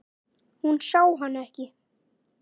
Hún sá hann ekki.